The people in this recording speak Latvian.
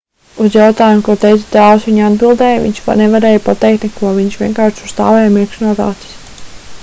uz jautājumu ko teica tēvs viņa atbildēja viņš nevarēja pateikt neko viņš vienkārši tur stāvēja mirkšķinot acis